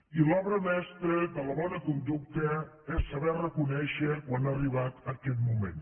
i l’obra mestra de la bona conducta és saber reconèixer quan ha arribat aquest moment